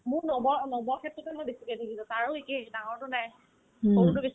মোৰ নৱ নৱৰ ক্ষেত্ৰতে ধৰ বেছিকে দেখিছা তাৰো একেই ডাঙৰটোৰ নাই সৰুটো বেছি